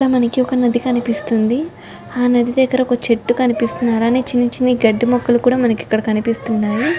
మనకి ఒక నది కనిపిస్తుంది ఆ నది దగ్గర ఒక చెట్టు కనిపిస్తున్నారని చిన్ని చిన్ని గడ్డి మొక్కలు కూడా మనకి ఇక్కడ కనిపిస్తున్నాయి.